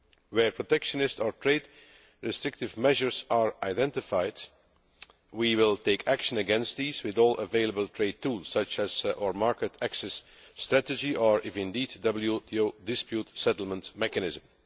Where protectionist or trade restrictive measures are identified, we will take action against them with all available trade tools, such as our market access strategy or even the WTO dispute settlement mechanism.